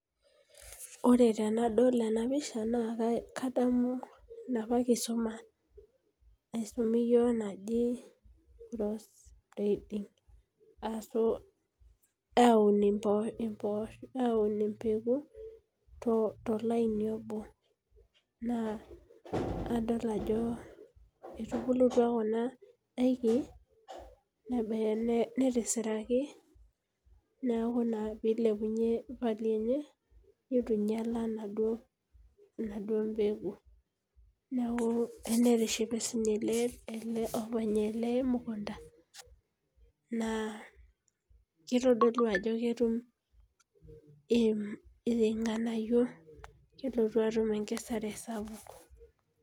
Ore tenadol ena pisha, naa kadamu ena kisuma naisumi iyiook naji, aun idaikin tolaini obo. naa etubulutua Kuna daiki, Nena, netisirikaki. neeku naa pee eilepunye, value enye. neitu ingiala enaduoo peeku. netishipe sii ninye ele, openy ele order naa kitodolu ajo ketum ilnganayio kelotu atum enkesare sapuk.